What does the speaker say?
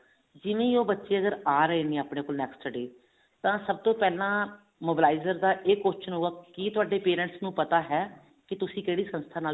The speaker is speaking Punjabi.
ਜਿਵੇਂ ਉਹ ਬੱਚੇ ਅਗਰ ਆ ਰਹੇ ਨੇ ਆਪਣੇ ਕੋਲ next day ਤਾਂ ਸਭ ਤੋਂ ਪਹਿਲਾਂ mobilizer ਦਾ ਇਹ ਸਵਾਲ ਹੁੰਦਾ ਕੀ ਤੁਹਾਡੇ parents ਨੂੰ ਪਤਾ ਹੈ ਕੀ ਤੁਸੀਂ ਕਿਹੜੀ ਸੰਸਥਾ ਨਾਲ